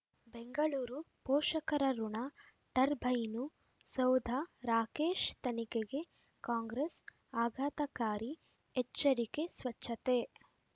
ಬೆಂಗಳೂರು ಪೋಷಕರಋಣ ಟರ್ಬೈನು ಸೌಧ ರಾಕೇಶ್ ತನಿಖೆಗೆ ಕಾಂಗ್ರೆಸ್ ಆಘಾತಕಾರಿ ಎಚ್ಚರಿಕೆ ಸ್ವಚ್ಛತೆ